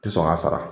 Tɛ sɔn k'a sara